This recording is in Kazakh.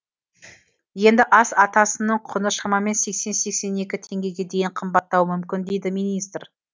енді ас атасының құны шамамен сексен сексен екі теңгеге дейін қымбаттауы мүмкін дейді министр